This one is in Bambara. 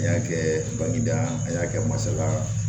A y'a kɛ bagida a y'a kɛ masala